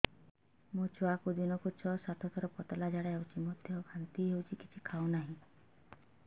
ମୋ ଛୁଆକୁ ଦିନକୁ ଛ ସାତ ଥର ପତଳା ଝାଡ଼ା ହେଉଛି ବାନ୍ତି ମଧ୍ୟ ହେଉଛି କିଛି ଖାଉ ନାହିଁ